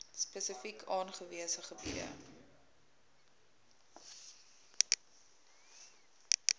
spesifiek aangewese gebiede